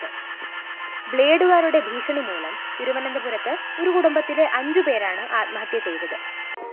ബ്ലേഡുകാരുടെ ഭീഷണിമൂലം തിരുവനന്തപുരത്ത്‌ ഒരു കുടുംബത്തിലെ അഞ്ചുപേരാണ്‌ ആത്മഹത്യ ചെയ്തത്‌